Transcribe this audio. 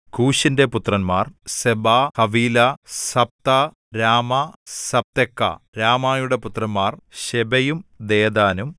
കൂശിന്റെ പുത്രന്മാർ സെബാ ഹവീലാ സബ്താ രാമാ സബ്തെക്കാ രാമായുടെ പുത്രന്മാർ ശെബയും ദെദാനും